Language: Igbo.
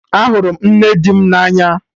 Ahụrụ m nne di m na anya